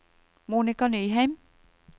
Monica Nyheim